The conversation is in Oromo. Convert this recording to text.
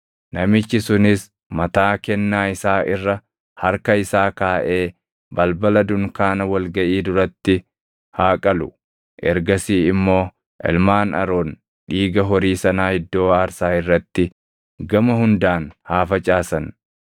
Namichi sunis mataa kennaa isaa irra harka isaa kaaʼee balbala dunkaana wal gaʼii duratti haa qalu. Ergasii immoo ilmaan Aroon dhiiga horii sanaa iddoo aarsaa irratti gama hundaan haa facaasan.